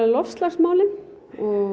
loftslagsmálin